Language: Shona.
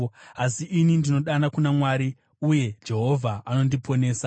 Asi ini ndinodana kuna Mwari, uye Jehovha anondiponesa.